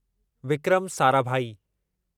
Vikram Sarabhai